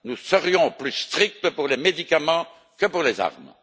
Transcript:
Nous serions plus stricts pour les médicaments que pour les armes.